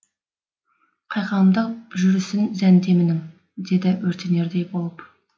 қайқаңдап жүрісін зәндемінің деді өртенердей болып